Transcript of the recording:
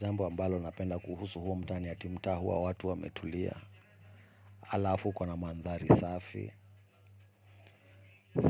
Zambo ambalo napenda kuhusu huo mtaa ni ati mtaa hua watu wa metulia. Alafu kona mandari safi.